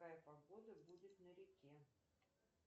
какая погода будет на реке